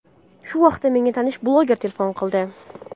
Shu vaqt menga tanish bloger telefon qildi.